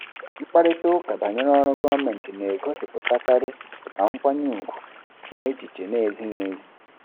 Mkparịta ụka banyere ọrụ gọọmentị na-egosipụtakarị ma nkwanye ùgwù ma echiche na-ezighị ezi.